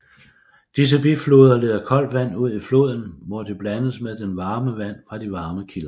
Disse bifloder leder koldt vand ud i floden hvor det blandes med det varme vand fra de varme kilder